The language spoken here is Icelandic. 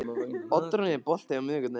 Oddrún, er bolti á miðvikudaginn?